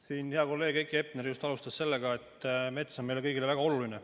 Siin hea kolleeg Heiki Hepner alustas sellega, et mets on meile kõigile väga oluline.